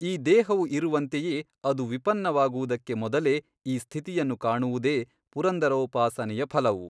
ಈ ದೇಹವು ಇರುವಂತೆಯೇ ಅದು ವಿಪನ್ನವಾಗುವುದಕ್ಕೆ ಮೊದಲೇ ಈ ಸ್ಥಿತಿಯನ್ನು ಕಾಣುವುದೇ ಪುರಂದರೋಪಾಸನೆಯ ಫಲವು.